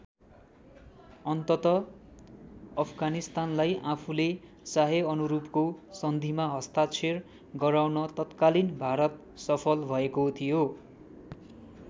अन्ततः अफगानिस्तानलाई आफूले चाहेअनुरूपको सन्धिमा हस्ताक्षर गराउन तत्कालीन भारत सफल भएको थियो।